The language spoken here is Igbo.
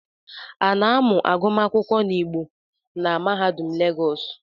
A na-amụ agụmagụ n’Igbo na mahaudum legos?